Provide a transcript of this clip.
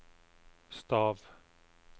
stav